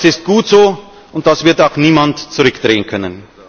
Das ist gut so, und das wird auch niemand zurückdrehen können.